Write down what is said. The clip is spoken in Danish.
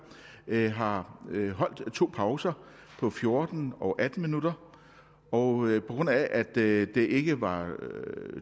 har holdt to pauser på fjorten og atten minutter og på grund af at det det ikke var